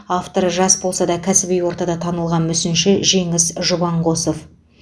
авторы жас болса да кәсіби ортада танылған мүсінші жеңіс жұбанқосов